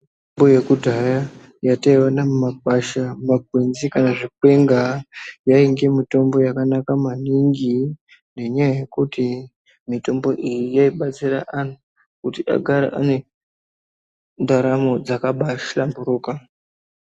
Mitombo yekudhaya yataiwana mumakwasha, makwenzi kana zvikwenga yainge mitombo yakanaka maningi nenyaya yekuti mitombo iyi yaibatsira vantu kuti agare ane ndaramo dzakabahlamburuka.